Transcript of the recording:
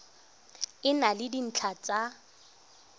e na le dintlha tsa